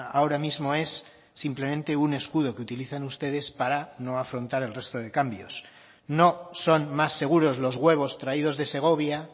ahora mismo es simplemente un escudo que utilizan ustedes para no afrontar el resto de cambios no son más seguros los huevos traídos de segovia